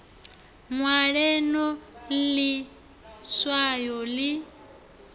ṅwale no ḽi swaya ḽi